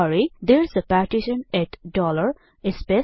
Therese a partition eighty dollar space